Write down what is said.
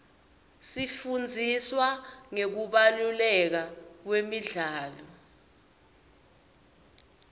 sifundziswa ngekubaluleka kwemidlalo